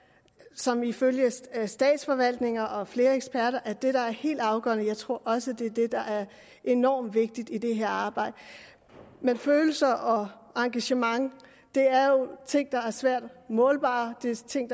som ifølge statsforvaltninger og flere eksperter er det der er helt afgørende jeg tror også at det er det der er enormt vigtigt i det her arbejde følelser og engagement er jo ting der er svært målbare det er ting